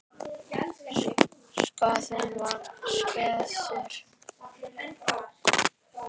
Skaðinn var skeður.